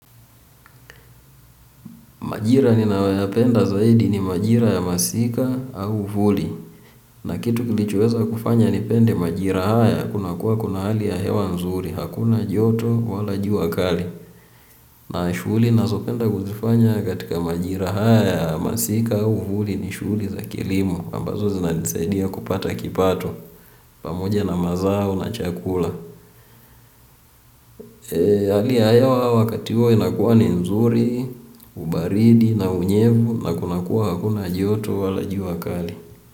Majira ninayoyapenda zaidi ni majira ya masika au huli. Na kitu kilichoweza kufanya nipende majira haya. Kunakuwa kuna hali ya hewa nzuri hakuna joto wala jua kali. Na shughuli ninazopenda kuzifanya katika majira haya ya masika au huli ni shughuli za kilimo ambazo zinanisaidia kupata kipato. Pamoja na mazao na chakula. Hali ya hewa wakati huo inakuwa ni nzuri, ubaridi na unyevu. Na kuna kuwa hakuna joto wala jua kali.